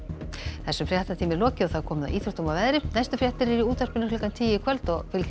þessum fréttatíma er lokið og komið að íþróttum og veðri næstu fréttir eru í útvarpinu klukkan tíu í kvöld og fylgjast